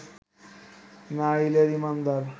না হলে ঈমানদার